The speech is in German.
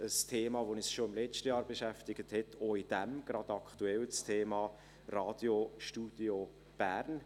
Ein Thema, das uns schon im letzten Jahr beschäftigt hat und auch gerade aktuell in diesem, ist das Thema Radiostudio Bern.